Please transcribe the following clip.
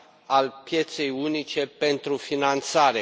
al pieței unice pentru finanțare.